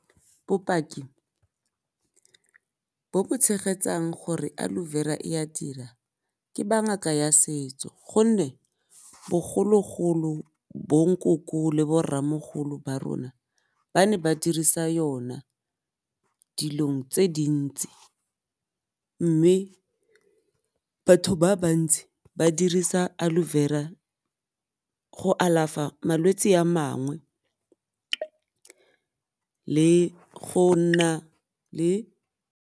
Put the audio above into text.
Bopaki bo bo tshegetsang gore Aloe Vera e a dira ke ba ngaka ya setso gonne bogologolo bo nkoko le bo rramogolo ba rona ba ne ba dirisa yona dilong tse dintsi, mme batho ba bantsi ba dirisa Aloe Vera go alafa malwetsi a mangwe le go nna le.